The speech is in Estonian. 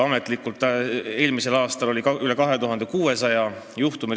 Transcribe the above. Ametlikult registreeriti eelmisel aastal üle 2600 juhtumi.